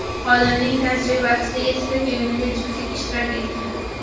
Olimning tajribasida yettita ko‘ngilli juftlik ishtirok etgan.